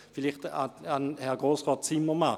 Vielleicht zuhanden von Herrn Grossrat Zimmermann: